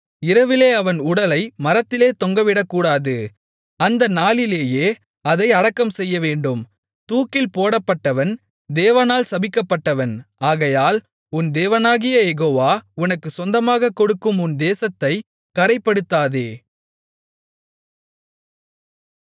இரவிலே அவன் உடலை மரத்திலே தொங்கவிடக்கூடாது அந்த நாளிலேயே அதை அடக்கம் செய்யவேண்டும் தூக்கில் போடப்பட்டவன் தேவனால் சபிக்கப்பட்டவன் ஆகையால் உன் தேவனாகிய யெகோவா உனக்குச் சொந்தமாகக் கொடுக்கும் உன் தேசத்தைக் கறைப்படுத்தாதே